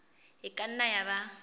e ka nna ya ba